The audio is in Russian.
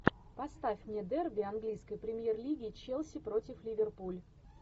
поставь мне дерби английской премьер лиги челси против ливерпуль